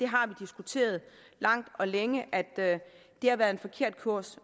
har diskuteret langt og længe at det har været en forkert kurs